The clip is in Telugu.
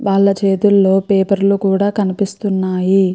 వాల చేతిల్లో పపెర్లు కూడా కనిపిస్తున్నాయి.